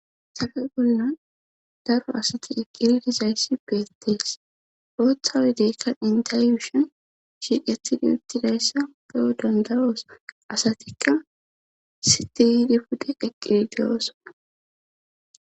sabe bollan daro asati eqqiridizayssi beettees ooththawe deekka intelishon shiidhathidi uttidayssa beyo dandaroos asatikka sitiydi pudhe qeqqidideyoosona